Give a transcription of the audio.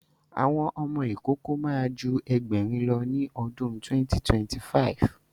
Àwọn ọmọ ìkókó ma ju Ẹgbẹ̀rin lọ ní ọdún 2025